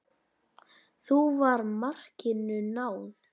Þá var markinu náð.